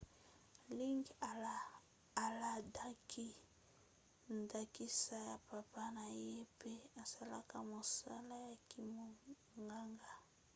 liggins alandaki ndakisa ya papa na ye pe asalaka mosala ya kimonganga